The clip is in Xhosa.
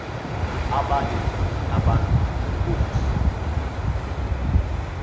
abanye abantu ngenkosi